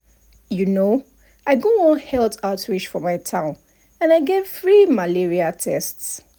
outreach programs sometimes[um]dey teach simple things wey person fit do so that their body go dey strong everyday.